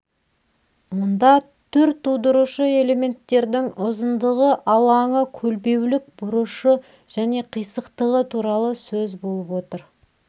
мұнда түр тудырушы элементердің ұзындығы алаңы көлбеулік бұрышы және қисықтығы туралы сөз болып отыр